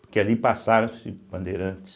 Porque ali passaram-se bandeirantes.